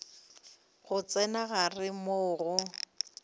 go tsena gare moo go